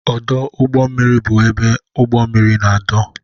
Ọdụ ugbọ mmiri bụ ebe ụgbọ mmiri na-edo.